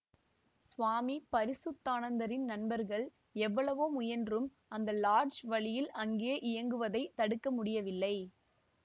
சுவாமி பரிசுத்தானந்தரின் நண்பர்கள் எவ்வளவோ முயன்றும் அந்த லாட்ஜ் வழியில் அங்கே இயங்குவதைத் தடுக்க முடியவில்லை